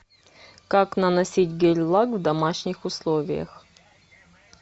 как наносить гель лак в домашних условиях